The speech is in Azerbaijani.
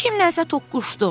Kimlənsə toqquşdum.